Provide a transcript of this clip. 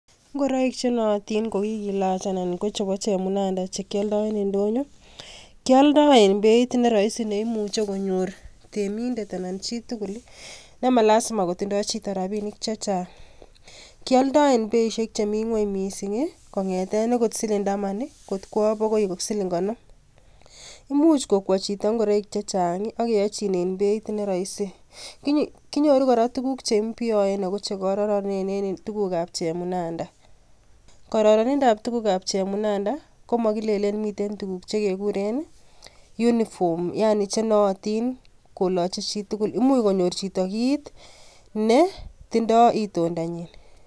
Ngoroik nootin kokikilach anan kochepo chemunanda chekyoldo en ndonyon kyoldo en beit neroisi neimuche konyor temindet ana chitugul nemalasima kotindoo chito rapinik chechang, kyoldo en beisiek chemi ngweny mising kong'eten silindaman kot kwo akoi siling konom, imuch kokwoi chito ngoroik chechang akeyochinen beit neroisi konyoru kora tukuk cheimbioen ako chekororonen ako tukakab chemunanda kororonindab tukab chemunanda komokilelen miten tukuk chekekuren uniform yaani chenootin koloche chitugul imuch konyor chito kit netindoo itindanyin.